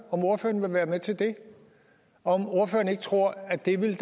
om ordføreren vil være med til det og om ordføreren ikke tror at det ville